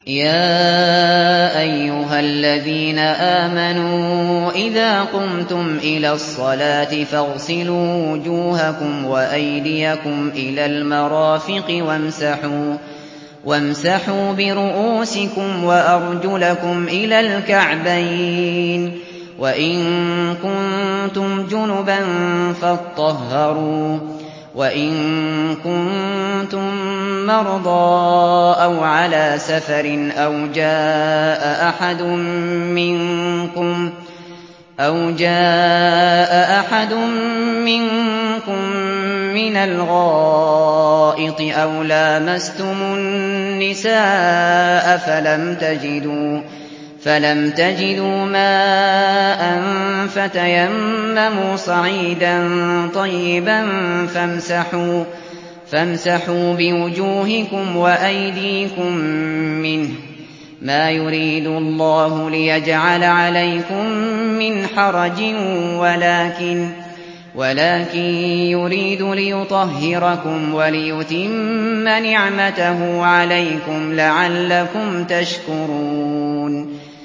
يَا أَيُّهَا الَّذِينَ آمَنُوا إِذَا قُمْتُمْ إِلَى الصَّلَاةِ فَاغْسِلُوا وُجُوهَكُمْ وَأَيْدِيَكُمْ إِلَى الْمَرَافِقِ وَامْسَحُوا بِرُءُوسِكُمْ وَأَرْجُلَكُمْ إِلَى الْكَعْبَيْنِ ۚ وَإِن كُنتُمْ جُنُبًا فَاطَّهَّرُوا ۚ وَإِن كُنتُم مَّرْضَىٰ أَوْ عَلَىٰ سَفَرٍ أَوْ جَاءَ أَحَدٌ مِّنكُم مِّنَ الْغَائِطِ أَوْ لَامَسْتُمُ النِّسَاءَ فَلَمْ تَجِدُوا مَاءً فَتَيَمَّمُوا صَعِيدًا طَيِّبًا فَامْسَحُوا بِوُجُوهِكُمْ وَأَيْدِيكُم مِّنْهُ ۚ مَا يُرِيدُ اللَّهُ لِيَجْعَلَ عَلَيْكُم مِّنْ حَرَجٍ وَلَٰكِن يُرِيدُ لِيُطَهِّرَكُمْ وَلِيُتِمَّ نِعْمَتَهُ عَلَيْكُمْ لَعَلَّكُمْ تَشْكُرُونَ